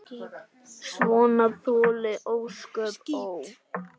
Svona þoli ósköp, ó!